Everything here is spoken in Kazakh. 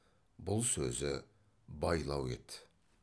бұл сөзі байлау еді